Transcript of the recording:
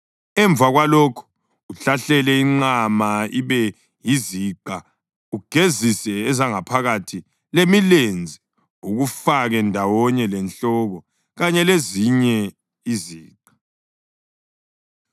Emva kwalokho uhlahlele inqama ibe yiziqa ugezise ezangaphakathi lemilenze ukufake ndawonye lenhloko kanye lezinye iziqa,